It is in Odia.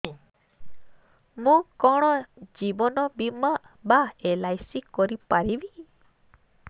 ମୁ କଣ ଜୀବନ ବୀମା ବା ଏଲ୍.ଆଇ.ସି ଜମା କରି ପାରିବି